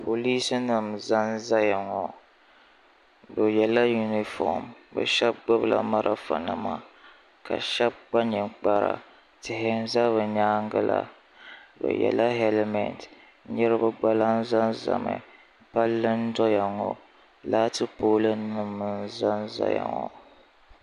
polinsi nim zan zaya ŋɔ bɛ yɛla yuniƒɔm be shɛbi gbala mariƒɔ nima ka shɛbi kpa nɛkpara tihi n za be nyɛgi la bɛ yɛla halimɛtɛ so gba lan zazami pali n doya ŋɔ laati polinima n Zan zaza ŋɔ